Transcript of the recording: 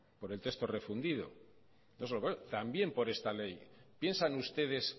por el texto refundido también por esta ley piensan ustedes